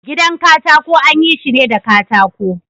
Gidan katako anyi shine da katako.